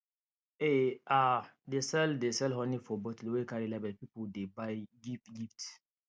e um dey sell dey sell honey for bottle wey carry label people dey buy give gift